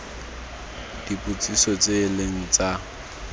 dipotsiso tse e leng tsa